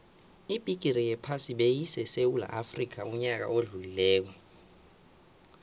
ibigixi yephasi beyisesewula afxica uyaka odlulile